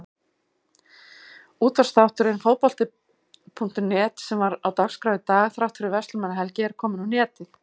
Útvarpsþátturinn Fótbolti.net sem var á dagskrá í dag þrátt fyrir Verslunarmannahelgi er kominn á netið.